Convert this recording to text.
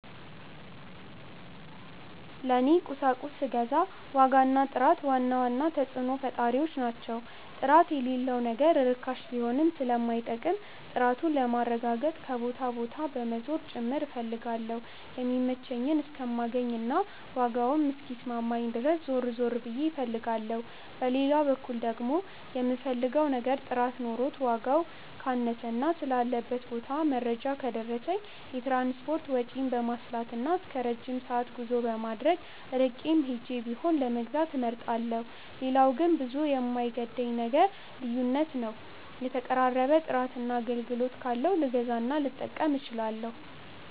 ለኔ ቁሳቁስ ስገዛ ዋጋ እና ጥራት ዋና ተጽዕኖ ፈጣሪዎች ናቸው። ጥራት የሌለው ነገር ርካሽ ቢሆንም ስለማይጠቅም፣ ጥራቱን ለማረጋገጥ ከቦታ ቦታ በመዞር ጭምር እፈልጋለሁ የሚመቸኝን እስከማገኝ እና ዋጋም እስኪስማማኝ ድረስ ዞር ዞር ብዬ ፈልጋለሁ። በሌላ በኩል ደግሞ፣ የምፈልገው ነገር ጥራት ኖሮት ዋጋው ካነሰና ስላለበት ቦታ መረጃ ከደረሰኝ፣ የትራንስፖርት ወጪን በማስላትና እስከረጅም ሰዓት ጉዞ በማድረግ ርቄም ሄጄ ቢሆን ለመግዛት እመርጣለሁ። ሌላው ግን ብዙም የማይገደኝ ነገር ልዩነት ነው የተቀራረበ ጥራትና አገልግሎት ካለው ልገዛና ልጠቀም እችላለሁ።